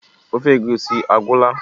ofe egusi agwụla?